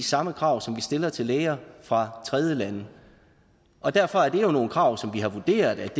samme krav som vi stiller til læger fra tredjelande og derfor er det jo nogle krav som vi har vurderet